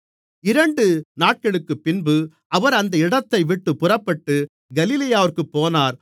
இரண்டு நாட்களுக்குப்பின்பு அவர் அந்த இடத்தைவிட்டுப் புறப்பட்டு கலிலேயாவிற்குப் போனார்